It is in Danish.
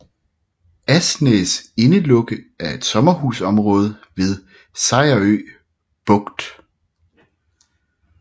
Asnæs Indelukke er et sommerhusområde ved Sejerø Bugt